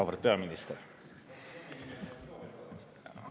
Auväärt peaminister!